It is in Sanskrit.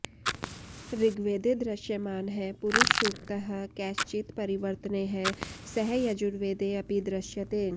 ऋग्वेदे दृश्यमानः पुरुषसूक्तः कैश्चित् परिवर्तनैः सह यजुर्वेदे अपि दृश्यते